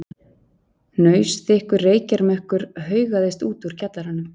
Hnausþykkur reykjarmökkur haugaðist út úr kjallaranum.